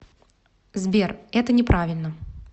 сбер это не правильно